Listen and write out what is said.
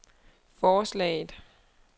forslaget